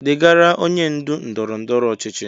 Degara onye ndu ndọrọ ndọrọ ọchịchị